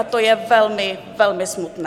A to je velmi, velmi smutné.